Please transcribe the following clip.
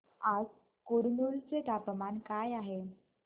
आज कुरनूल चे तापमान काय आहे